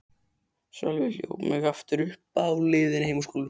Sölvi hljóp mig aftur uppi á leiðinni heim úr skólanum.